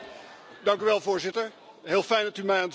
Voorzitter, heel fijn dat u mij aan het woord laat.